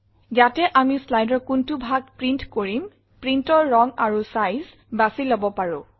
ইয়াতে আমি slideৰ কোনটো ভাগ প্ৰিণ্ট কৰিম printতৰ ৰং আৰু চাইজ বাছি লব পাৰো